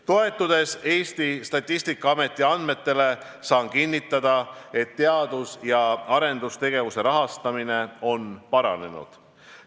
Toetudes Eesti Statistikaameti andmetele, saan kinnitada, et teadus- ja arendustegevuse rahastamine on paranenud.